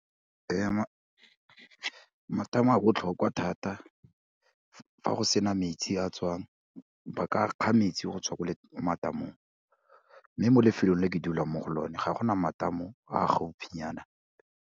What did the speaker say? Matamo a botlhokwa thata fa go sena metsi a tswang, ba ka kga metsi go tswa ko matamong, mme mo lefelong le ke dulang mo go lone ga gona matamo a gaufinyana.